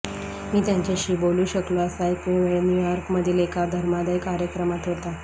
मी त्यांच्याशी बोलू शकलो असा एकमेव वेळ न्यू यॉर्क मधील एका धर्मादाय कार्यक्रमात होता